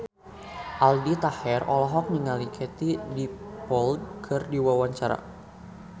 Aldi Taher olohok ningali Katie Dippold keur diwawancara